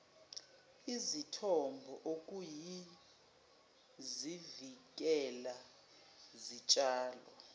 izithombo okuyizivikela zitshalo